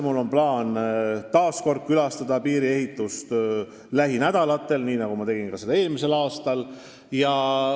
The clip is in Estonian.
Mul on lähinädalatel plaanis uuesti piiriehitust külastada, nii nagu ma tegin ka seda eelmisel aastal.